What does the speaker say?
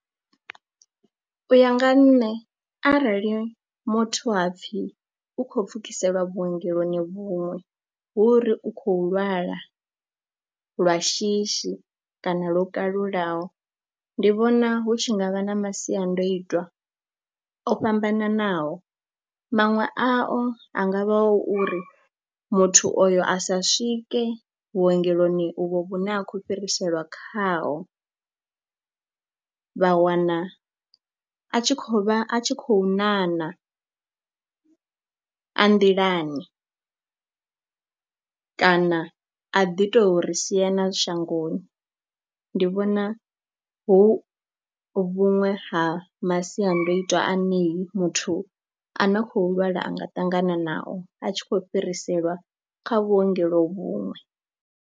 U ya nga nṋe arali muthu hapfhi u khou pfhukiseliwa vhuongeloni vhuṅwe hu ri u khou lwala lwa shishi kana lwo kalulaho ndi vhona hu tshi nga vha na masiandoitwa o fhambananaho, maṅwe ao a nga vha o uri muthu oyo a sa swike vhuongeloni uvho vhune a khou fhiriselwa khao vha wana a tshi khou vha a tshi khou ṋaṋa a nḓilani kana a ḓi tou ri sia na shangoni. Ndi vhona hu vhuṅwe ha masiandoitwa ane ni muthu a na khou lwala a nga ṱangana nao a tshi khou fhiriselwa kha vhuongelo vhuṅwe.